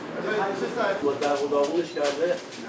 Ağa, bunları dağ-dağ eləyib.